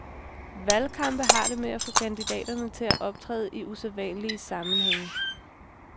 Valgkampe har det med at få kandidaterne til at optræde i usædvanlige sammenhæng.